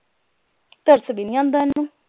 ਤਰਸ ਵੀ ਨਹੀਂ ਆਂਦਾ ਇਹਨੂੰ